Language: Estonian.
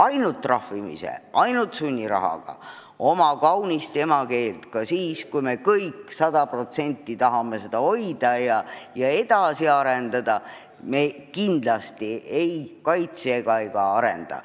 Ainult trahvimise ja sunnirahaga me oma kaunist emakeelt – ka siis, kui me kõik tahame seda hoida ja edasi arendada – kindlasti ei kaitse ega arenda.